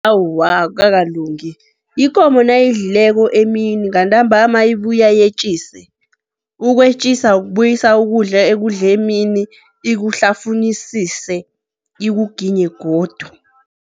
Awa, akukakalungi. Ikomo nayidlileko emini ngantambama ibuya yetjise. Ukwetjisa kubuyisa ukudla ekudle emini, ikuhlafunyisise, ikuginye godu.